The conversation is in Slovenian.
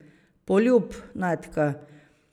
Poljub, Natka.